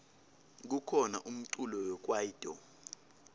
kukhona umculo wekwaito